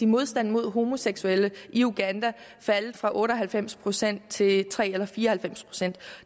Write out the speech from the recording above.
modstanden mod homoseksuelle i uganda faldet fra otte og halvfems procent til tre og fire og halvfems procent